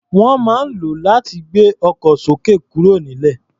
Wọ́n máa ń lò ó láti gbé ọkọ̀ sókè kúrò nílẹ̀.